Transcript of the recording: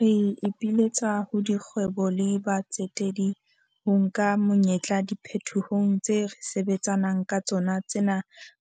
Re ipiletsa ho dikgwebo le batsetedi ho nka monyetla diphetohong tse re sebetsa nang ka tsona tsena